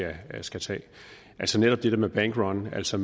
vi skal tage netop det der med bankrun altså